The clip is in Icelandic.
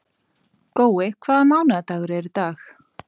Gói, hvaða mánaðardagur er í dag?